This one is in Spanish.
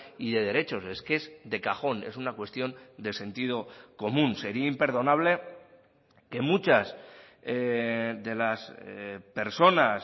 y de derechos es que es de cajón es una cuestión de sentido común sería imperdonable que muchas de las personas